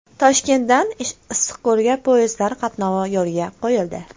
Toshkentdan Issiqko‘lga poyezdlar qatnovi yo‘lga qo‘yildi.